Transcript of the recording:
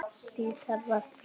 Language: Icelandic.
Því þarf að breyta!